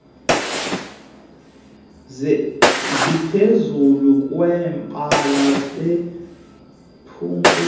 ziphezulu kwebala bebukele